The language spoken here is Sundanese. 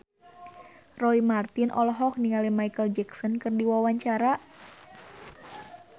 Roy Marten olohok ningali Micheal Jackson keur diwawancara